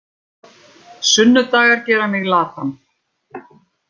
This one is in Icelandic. Sunnudagar gera mig latan.